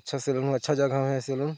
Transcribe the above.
अच्छा सेलून अच्छा जगह में है सेलून --